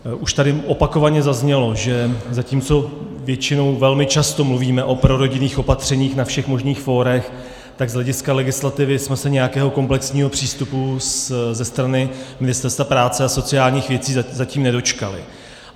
Už tady opakovaně zaznělo, že zatímco většinou velmi často mluvíme o prorodinných opatřeních na všech možných fórech, tak z hlediska legislativy jsme se nějakého komplexního přístupu ze strany Ministerstva práce a sociálních věcí zatím nedočkali.